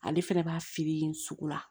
Ale fɛnɛ b'a feere yen sugu la